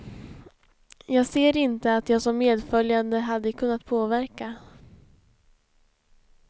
Jag ser inte att jag som medföljande hade kunnat påverka.